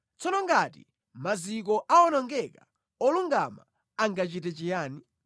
Tsono ngati maziko awonongeka, olungama angachite chiyani?”